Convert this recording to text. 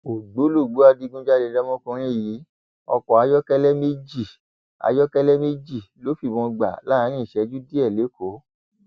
ògbólógbòó adigunjalè lọmọkùnrin yìí ọkọ ayọkẹlẹ méjì ayọkẹlẹ méjì ló fìbọn gbà láàrin ìṣẹjú díẹ lẹkọọ